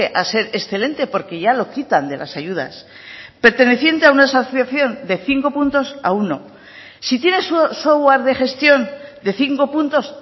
a ser excelente porque ya lo quitan de las ayudas perteneciente a una asociación de cinco puntos a uno si tiene software de gestión de cinco puntos